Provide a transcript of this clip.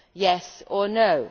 Yes or no.